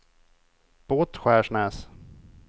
Båtskärsnäs